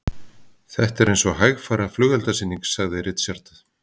Þetta er eins og hægfara flugeldasýning, sagði Richard.